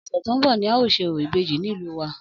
Ọ̀sẹ̀ tó ń bọ̀ ni a óò ṣe orò ìbejì nílùú wa